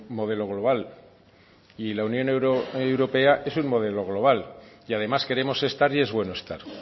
modelo global y la unión europea es un modelo global y además queremos estar y es bueno estar